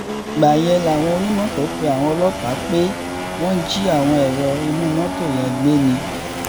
ìgbà yẹn làwọn onímọ́tò pe àwọn ọlọ́pàá pé wọ́n jí àwọn ẹ̀rọ inú mọ́tò yẹn gbé ni